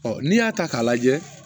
n'i y'a ta k'a lajɛ